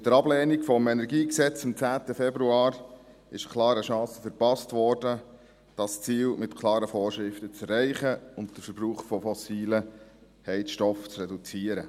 Mit der Ablehnung des KEnG am 10. Februar wurde klar eine Chance verpasst, dieses Ziel mit klaren Vorschriften zu erreichen und den Verbrauch von fossilen Heizstoffen zu reduzieren.